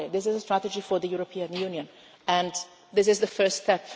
This is a strategy for the European Union and this is the first